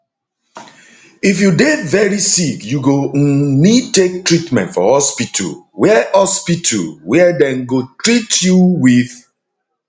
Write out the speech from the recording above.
if you dey veri sick you go um need take treatment for hospital wia hospital wia dem go teat you wit